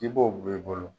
I b'o bɔ i bolo